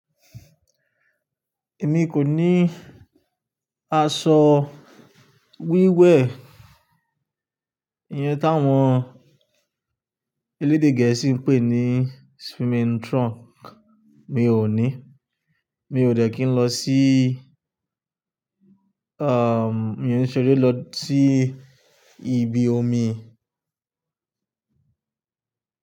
Èmi kò ní aṣọ wíwẹ̀, ìyẹn tí àwọn elédè gẹ̀ẹ́sì ń pè ní swimming trunk. Mi ò ní, mi ò dẹ̀ kí n lọ sí, um, mi ò ní ṣeré lọ sí ibi omi.